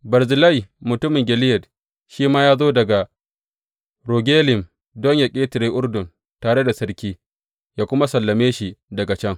Barzillai mutumin Gileyad shi ma ya zo daga Rogelim don yă ƙetare Urdun tare da sarki, yă kuma sallame shi daga can.